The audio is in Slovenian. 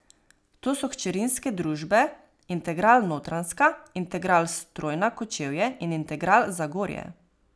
To so hčerinske družbe Integral Notranjska, Integral Strojna Kočevje in Integral Zagorje.